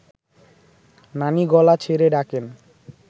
নানি গলা ছেড়ে ডাকেন